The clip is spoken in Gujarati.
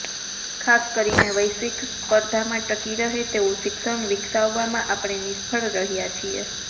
ખાસ કરીને વૈશ્વિક સ્પર્ધામાં ટકી રહે તેવું શિક્ષણ વિકસાવવામાં આપણે નિષ્ફ્ળ રહ્યા છીએ